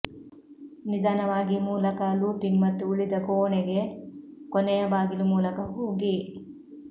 ನಿಧಾನವಾಗಿ ಮೂಲಕ ಲೂಪಿಂಗ್ ಮತ್ತು ಉಳಿದ ಕೋಣೆಗೆ ಕೊನೆಯ ಬಾಗಿಲು ಮೂಲಕ ಹೋಗಿ